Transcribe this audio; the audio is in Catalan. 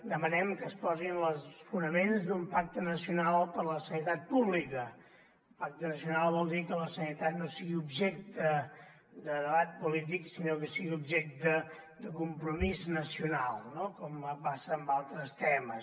demanem que es posin els fonaments d’un pacte nacional per a la sanitat pública pacte nacional vol dir que la sanitat no sigui objecte de debat polític sinó que sigui objecte de compromís nacional no com passa amb altres temes